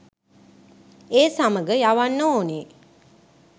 ඒ සමග යවන්න ඕනේ.